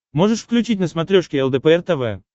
можешь включить на смотрешке лдпр тв